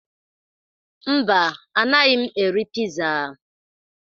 Mba, anaghị m eri piza.